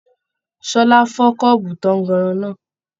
Ṣọlá fọ kọ́ọ́bú tànganran náà.